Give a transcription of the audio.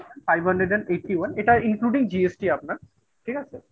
Five hundred and eighty one এটা including GST আপনার। ঠিক আছে?